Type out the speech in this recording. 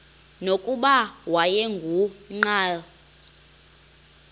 nokuba wayengu nqal